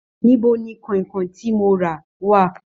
Níbo ní kọ̀ìnkọ̀ìn tí mó rà wá?